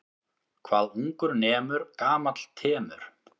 Hvað ungur nemur gamall temur.